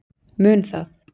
Mun það